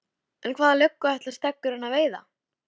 En hvaða löggu ætlaði Steggurinn að veiða?